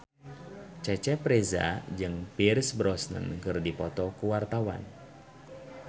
Cecep Reza jeung Pierce Brosnan keur dipoto ku wartawan